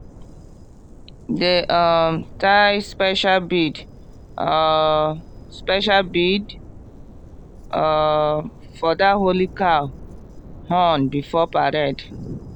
dem um tie special bead um special bead um for that holy cow horn before parade.